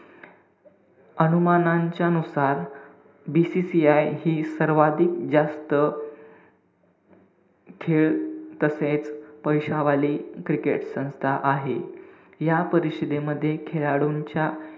अनुमानाच्या नुसार BCCI हि सर्वाधिक जास्त खेळ तसेच पैशावाली cricket संस्था आहे. या परिषदेमध्ये खेळाडूंच्या,